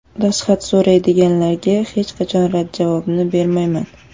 Dastxat so‘raydiganlarga hech qachon rad javobini bermayman.